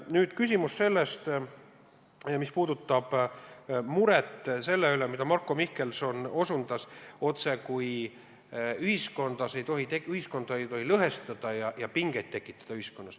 Nüüd küsimus sellest, mis puudutab muret selle üle, millele Marko Mihkelson osutas: ühiskonda ei tohi lõhestada ja selles pingeid tekitada.